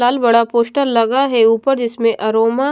लाल बड़ा पोस्टर लगा है ऊपर जिसमें अरोमा --